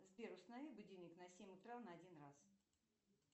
сбер установи будильник на семь утра на один раз